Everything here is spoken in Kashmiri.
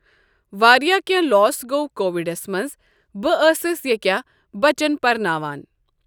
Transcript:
واریاہ کینہہ لوس گوٚو کووِڑس منز بہٕ ٲٕسس ییٚکیاہ بَچن پرناوان۔